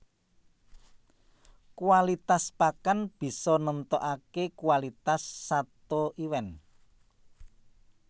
Kualitas pakan bisa nemtokaké kualitas sato iwèn